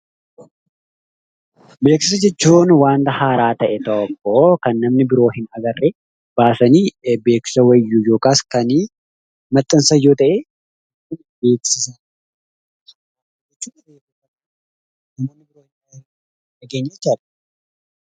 Beeksisa jechuun wanta haaraa namni duraan hin argine baasanii kan beeskisan yookiin maxansan jechuudha.